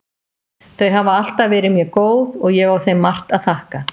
Þau hafa alltaf verið mér góð og ég á þeim margt að þakka.